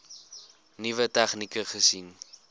nuwe tegnieke gesien